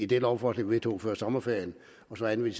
det lovforslag vi vedtog før sommerferien og så anvende